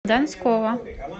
донского